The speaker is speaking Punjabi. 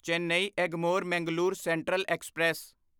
Chennai Egmore Mangalore central express